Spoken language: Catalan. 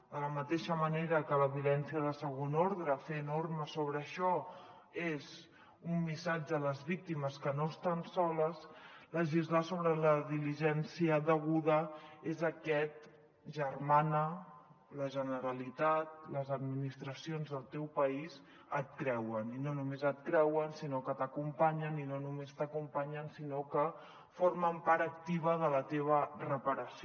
de la mateixa manera que la violència de segon ordre fer normes sobre això és un missatge a les víctimes que no estan soles legislar sobre la diligència deguda és aquest germana la generalitat les administracions del teu país et creuen i no només et creuen sinó que t’acompanyen i no només t’acompanyen sinó que formen part activa de la teva reparació